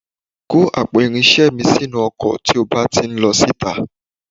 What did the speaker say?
Gbé àpò irinṣẹ́ mi sínú ọkọ̀ tí ó bá ti ń lọ sí ìta